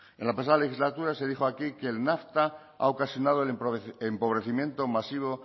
en la pasada legislatura se dijo aquí que el nafta ha ocasionado el empobrecimiento masivo